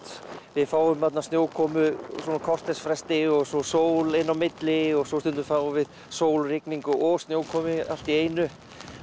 við fáum snjókomu á svona kortersfresti og svo sól inn á milli og svo stundum fáum við sól rigningu og snjókomu allt í einu